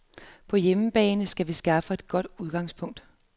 På hjemmebane skal vi skaffe os et godt udgangspunkt.